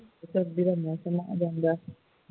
ਸਰਦੀਆਂ ਦਾ ਮੌਸਮ ਆ ਜਾਂਦਾ ਹੈ